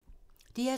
DR2